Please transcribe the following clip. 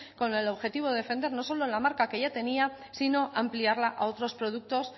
con el objetivo de defender no solo la marca que ya tenía sino ampliarla a otros productos